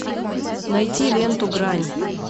найти ленту грань